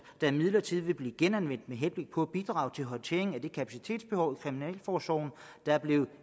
der imidlertid vil blive genanvendt med henblik på at bidrage til håndteringen af det kapacitetsbehov i kriminalforsorgen der er blevet